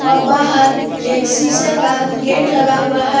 और बाहर एक शीशे का गेट लगा हुआ है।